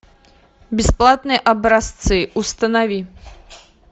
бесплатные образцы установи